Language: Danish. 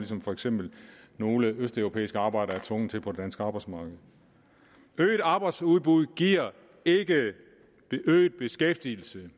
som for eksempel nogle østeuropæiske arbejdere er tvunget til på det danske arbejdsmarked øget arbejdsudbud giver ikke øget beskæftigelse